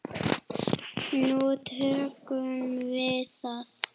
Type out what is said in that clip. Nú tökum við það